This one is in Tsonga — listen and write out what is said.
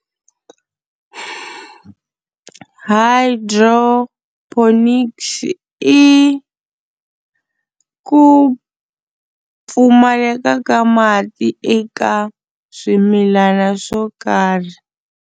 Hydroponics i ku pfumaleka ka mati eka swimilana swo karhi.